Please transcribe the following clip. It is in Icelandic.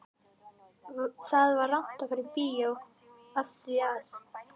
Það var rangt að fara í bíó af því að